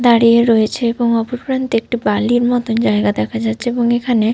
দাঁড়িয়ে রয়েছে এবং অপরপ্রান্তে একটি বালির মতোন জায়গা দেখা যাচ্ছে। এবং এখানে --